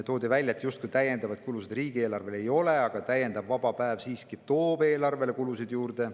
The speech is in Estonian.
Toodi välja, et justkui täiendavaid kulusid riigile ei ole, aga täiendav vaba päev toob siiski eelarvesse kulusid juurde.